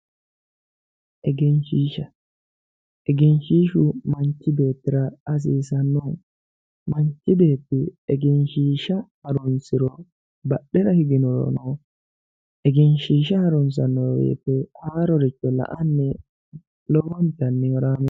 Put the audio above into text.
egenshiishsha egenshiishshu manchi beettira hasiisannoho manchi beetti egenshiishsha harunsiro badhera higinorono egenshiishsha harunsanno wote haaroricho la''anni lowontanni horaammeessa ikkanno.